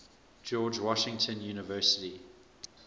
george washington university